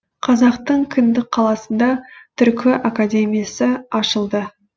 қазақтың кіндік қаласында түркі академиясы ашылды